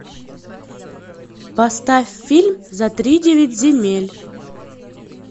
поставь фильм за тридевять земель